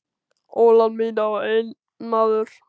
Ólán mitt á einn maður.